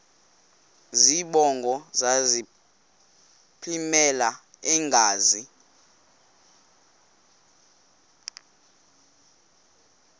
zibongo zazlphllmela engazi